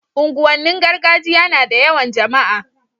unguwan nin gargajiya nada yawan jama'a